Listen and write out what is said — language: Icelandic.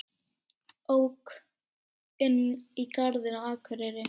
Ók inn í garð á Akureyri